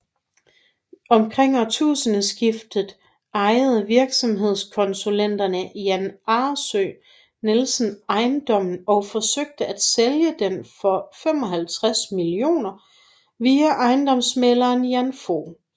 Omkring årtusindskiftet ejede virksomhedskonsulenten Jan Aarsø Nielsen ejendommen og forsøgte at sælge den for 55 millioner via ejendomsmægleren Jan Fog